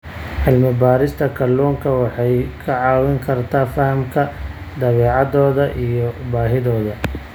Cilmi-baarista kalluunka waxay kaa caawin kartaa fahamka dabeecadooda iyo baahidooda.